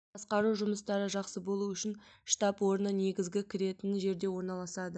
басқару жұмыстары жақсы болу үшін штаб орны негізгі кіретін жерде орналысады